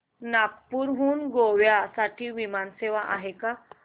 नागपूर हून गोव्या साठी विमान सेवा आहे का